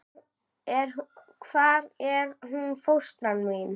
Hvar er hún fóstra mín?